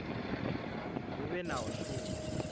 hu vhe na u shuma